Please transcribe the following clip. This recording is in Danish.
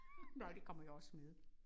Nej det kommer jo også med